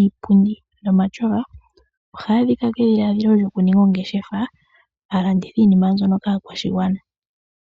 iipundi nomatyofa ohaya adhika kedhilaadhilo lyoku ninga ongeshefa a landithe iinima mbyono kaakwashigwana.